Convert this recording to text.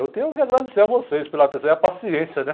Eu tenho que agradecer a vocês pela atenção e a paciência, né?